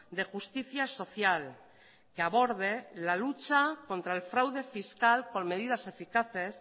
de justicia social que aborde la lucha contra el fraude fiscal con medidas eficaces